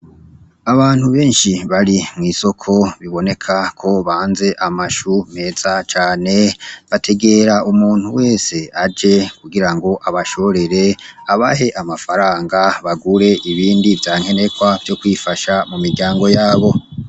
Abantu benshi bari mw'isoko biboneka ko banze amashu meza cane, bategera umuntu wese aje kugira ngo abashorere, abahe amafaranga bagure ibindi vya nkenegwa vyo kwifasha mu miryango yabo.